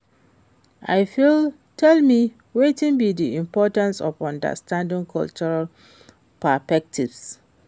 you fit tell me wetin be di importance of understanding cultural perspectives?